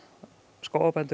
skógarbændum